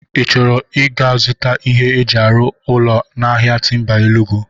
Ị chọrọ ị ga-zụta ihe eji arụ ụlọ n'ahia Timba Enugwu?